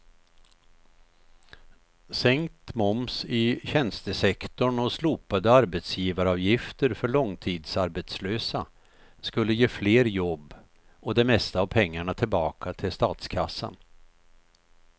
Sänkt moms i tjänstesektorn och slopade arbetsgivaravgifter för långtidsarbetslösa skulle ge fler jobb och det mesta av pengarna tillbaka till statskassan.